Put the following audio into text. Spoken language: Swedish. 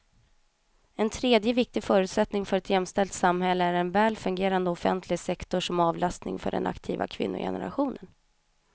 En tredje viktig förutsättning för ett jämställt samhälle är en väl fungerande offentlig sektor som avlastning för den aktiva kvinnogenerationen.